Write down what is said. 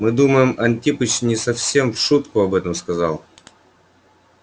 мы думаем антипыч не совсем в шутку об этом сказал